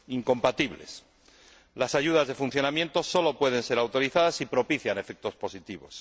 Las ayudas de funcionamiento sólo pueden ser autorizadas si propician efectos positivos.